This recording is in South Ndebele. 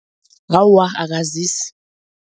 Awa akazisi.